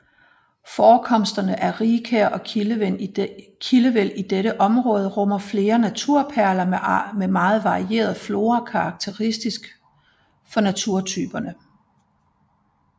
Forekomsterne af rigkær og kildevæld i dette område rummer flere naturperler med meget varieret flora karakteristisk for naturtyperne